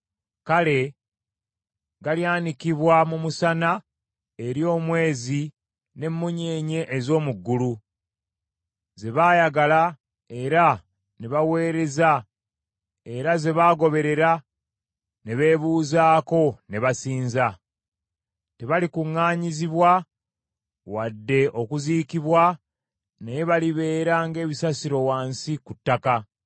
Kale galyanikibwa mu musana, eri omwezi n’emmunyeenye ez’omu ggulu, ze baayagala era ne baaweereza era ze baagoberera ne beebuuzaako ne basinza. Tebalikuŋŋaanyizibwa wadde okuziikibwa naye balibeera ng’ebisasiro wansi ku ttaka.